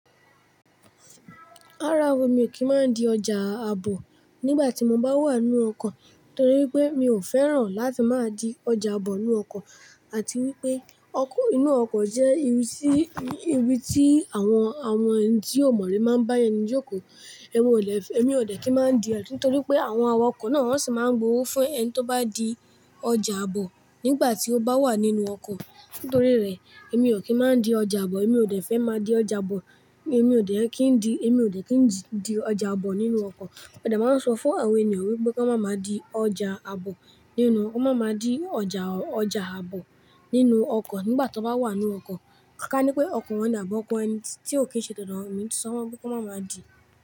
Rárá o, mi ò kí ń má di ọjà àbọ̀ nígbà tí mo bá wà nínú ọkọ̀ torí pé mi ò fẹ́ràn láti máa di ọjà àbọ̀ nínú ọkọ̀ àti wípé ọkọ̀, inú ọkọ̀ jẹ́ ibi tí, ibi tí àwọn, àwọn ẹni tí ó mọ̀ ri máa ń bá ẹni jókòó. Èmi ò lè, èmi ò dẹ̀ kí máa di ẹ̀ru nítorí pé àwọn awakọ̀ náà sì máa ń gbowó fún ẹni tó bá di ọjà àbọ̀ nígbà tí ó bá wà nínú ọkọ̀. Nítorí rẹ̀, èmi ò kí ń má di ọjà àbọ̀, èmi ò dẹ̀ fẹ́ má di ọjà àbọ̀, èmi ò dẹ̀ kí ń di, èmi ò dẹ̀ kí ń di ọjà àbọ̀ nínú ọkọ̀. A de máa n sọ fún àwọn ènìyàn wípé kó máa ma di ọjà àbọ̀ nínú, kó máa ma di ọjà, ọjà àbọ̀ nínú ọkọ̀ nígbà tó bá wà nínú ọkọ̀. Ká ní pé ọkọ̀ wọ́n àbi ọ́ko ẹni tí ò kí ń ṣe todo won, emi ti sọ fun won pé kan máa ma di.